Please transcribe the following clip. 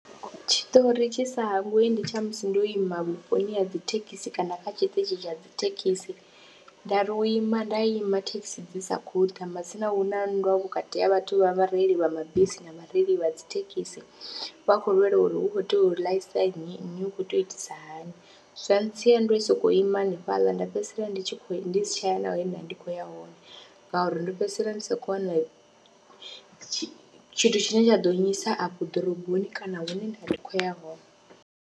Tshiṱori tshi sa hangwei ndi tsha musi ndo ima vhuponi ha dzi thekhisi kana kha tshiṱitshi tsha dzi thekhisi nda ri u ima nda ima thekhisi dzi sa khou ita matsina hu na nndwa vhukati ha vhathu vha vhareili vha mabisi na vhareili vha dzi thekhisi, vha khou lwela uri hu khou tea u ḽaisa nnyi, nnyi u khou tea u itisa hani, zwa ntsia ndo sokou ima hanefhaḽa nda fhedzisela ndi tshi khou, ndi si tsha ya na he nda vha ndi khou ya hone ngauri ndo fhedzisela ndi sa khou wana tshithu tshine tsha ḓo nnyisa afho ḓoroboni kana hune nda vha ndi khou ya hone.